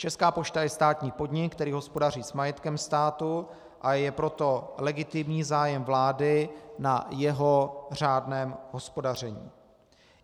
Česká pošta je státní podnik, který hospodaří s majetkem státu, a je proto legitimní zájem vlády na jeho řádném hospodaření.